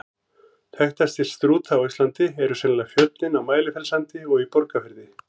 Þekktastir Strúta á Íslandi eru sennilega fjöllin á Mælifellssandi og í Borgarfirði.